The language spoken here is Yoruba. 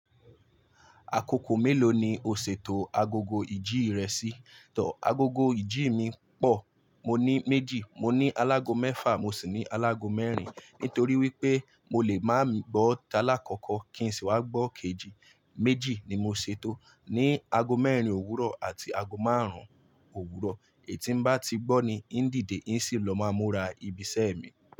Àkókò mélòó ni o ṣètò agogo ìjí rẹ sí? Tọ̀, agogo ìjí mi pọ̀. Mo ní méjì, mo ní alágọ mèfà mo sì ní alágọ mẹ́rin. Nítorí wípé mo lè máa gbọ́ táàlá àkọ́kọ́ kí n sì wá gbọ́ kejì. Méjì ni mo ṣètò, ní ago mẹ́rin òwúrọ̀ àti ago márùn-ún òwúrọ̀. Èyí tí ń bá ti gbọ́ ni ń dìde ń sì lọ máa múra ibi iṣẹ́ mi.